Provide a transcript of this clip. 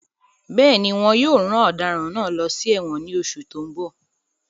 Bẹ́ẹ̀ni, wón yóò rán ọ̀daràn náà lọ sí ẹ̀wọ̀n ní oṣù tó ń bọ̀